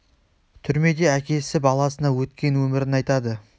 түрмеде әкесі баласына өткен өмірін айтады